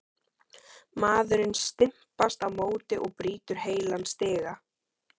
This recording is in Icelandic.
Maðurinn stimpast á móti og brýtur heilan stiga!